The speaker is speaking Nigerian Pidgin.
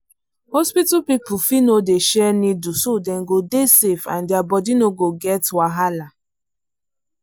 hospital people fit no dey share needle so them go dey safe and der body no go get wahala.